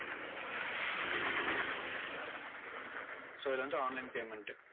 so இது வந்து online payment